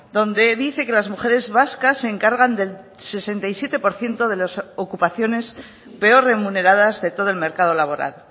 donde dice que las mujeres vascas se encargan del sesenta y siete por ciento de las ocupaciones peor remuneradas de todo el mercado laboral